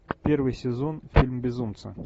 первый сезон фильм безумца